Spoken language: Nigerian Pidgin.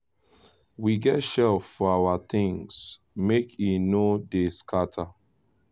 we get shelf for our things make e no dey scatter